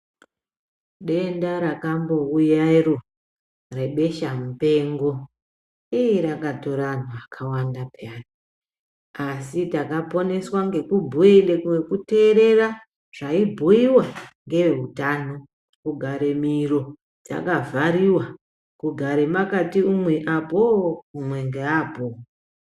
Denda rakambouya iro rebeshamupengo iih rakatore antu akawanda peyani asi takaponeswa ngekuteerere zvaibhuiwa ngeeutano. Kugare miro yakavhariw, kugare makati umwe apo-o, umwe ngeapo.